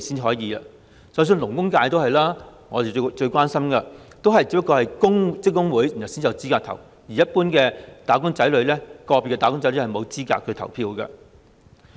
就連我最關心的勞工界，也是只有職工會才有資格投票，一般個別"打工仔女"是沒有資格投票的。